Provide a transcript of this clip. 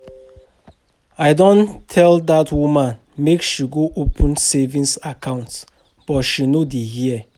I don tell dat woman make she go open saving account but she no dey hear